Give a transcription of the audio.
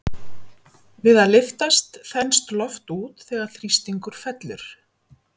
Við að lyftast þenst loft út þegar þrýstingur fellur.